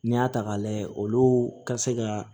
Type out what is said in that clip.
N'i y'a ta k'a lajɛ olu ka se ka